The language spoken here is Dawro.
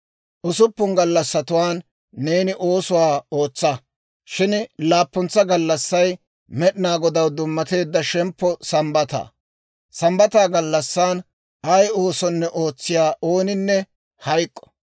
Usuppun gallassatuwaan neeni oosuwaa ootsa; shin laappuntsa gallassay Med'inaa Godaw dummatteedda shemppo Sambbataa; Sambbataa gallassan ay oosonne ootsiyaa ooninne hayk'k'o.